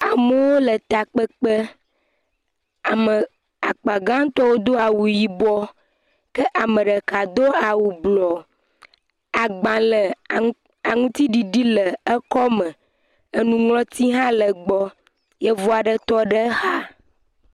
Mɔto. Eŋu tse tɔ ɖe mɔto. Ŋutsu ɖe le eŋua megbe yi nye eŋu dze. Ŋutsu ɖe kpla bagi. Etsi xa ɖe anyigba. Aɖuɖɔ le me, kusi tse le tsia me le anyigba le fi mi. Ŋutsɔ ɖe tse tɔ ɖe xa le fi mi abe tsɔ asi de kotoku me.